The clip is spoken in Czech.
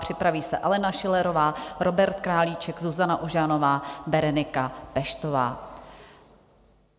Připraví se Alena Schillerová, Robert Králíček, Zuzana Ožanová, Berenika Peštová.